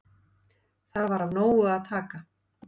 Þar var af nógu að taka.